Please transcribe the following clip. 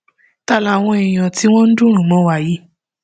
ta làwọn èèyàn tí wọn ń dùnrùn mọ wa yìí